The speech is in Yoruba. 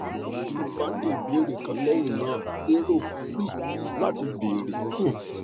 ti o ba ni ibeere kan lẹhinna lero free lati beere um